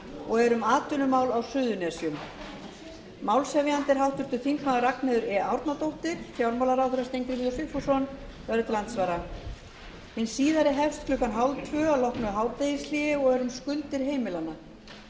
og er um atvinnumál á suðurnesjum málshefjandi er háttvirtur þingmaður ragnheiður e árnadóttir fjármálaráðherra steingrímur j sigfússon verður til andsvara hin síðari hefst klukkan þrettán þrjátíu að loknu hádegishléi og er um skuldir heimilanna málshefjandi